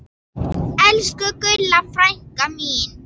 Elsku Gulla frænka mín.